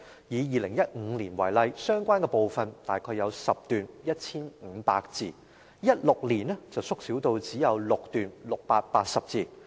以2015年為例，相關部分大約有10段 ，1,500 字 ；2016 年縮小至只有6段 ，680 字。